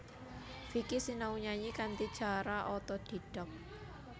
Vicky sinau nyanyi kanthi cara otodidak